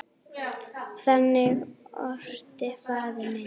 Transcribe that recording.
Þannig orti faðir minn.